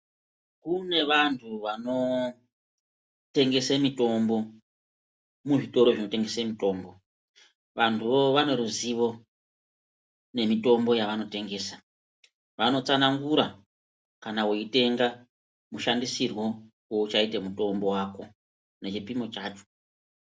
Kune vantu vanotengese mitombo muzvitoro zvinotengese mitombo vantu vaneruzivo nemitombo yavanotengesa vanotsanangura kana weitenga mushandisirwo woichaita mutombo wako nechipimo chacho.